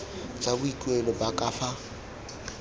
tsa boikuelo ba ka fa